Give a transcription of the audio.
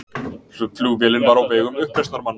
Flugvélin var á vegum uppreisnarmanna